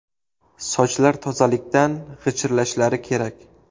Sochlar tozalikdan g‘ichirlashlari kerak”.